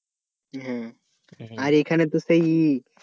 আর এখানে তো সেই